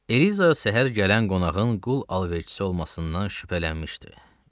Eliza səhər gələn qonağın qul alverçisi olmasından şübhələnmişdi.